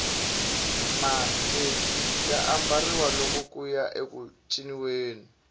mateki ya ambariwa loko kuya eku ciniweni